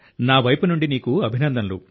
నా వైపు నుండి అభినందనలు